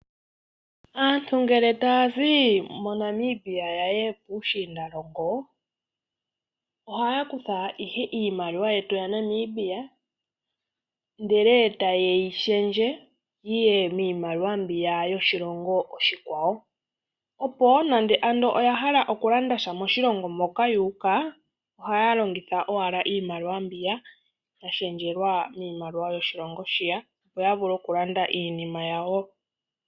Aantu ngele ta ya zi moNamibia yaye, puushiindalongo, oha ya kutha ohe iimaliwa yetu ya Namibia ndele ta ye yi shendje, yiye miimaliwa mbiya yoshilongo oshikwawo. Opo wo nande oya hala oku landasha moshilongo moka yuuka oka ya longitha owala iimaliwa mbiya, ya shendjelwa miimaliwa yoshilongo shiya opo ya vule oku landa iinnima yawo.